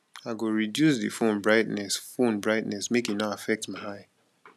i go reduce di phone brightness phone brightness make e no affect my eye